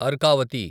Arkavathi